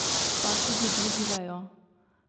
Pa tudi drugi vejo.